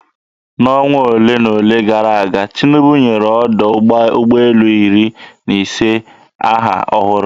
N'ọnwa ole na ole gara aga, Tinubu nyere ọdọ ụgbọelu iri na ise aha ọhụrụ.